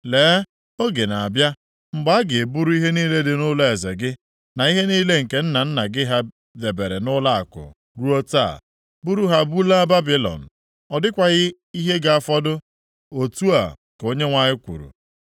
Lee, oge na-abịa mgbe a ga-eburu ihe niile dị nʼụlọeze gị, na ihe niile nke nna nna gị ha debere nʼụlọakụ ruo taa, buru ha bulaa Babilọn. Ọ dịkwaghị ihe ga-afọdụ, otu a ka Onyenwe anyị kwuru.